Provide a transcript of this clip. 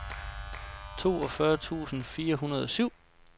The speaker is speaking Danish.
toogfyrre tusind fire hundrede og syv